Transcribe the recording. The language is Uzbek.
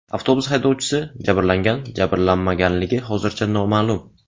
Avtobus haydovchisi jabrlangan-jabrlanmaganligi hozircha noma’lum.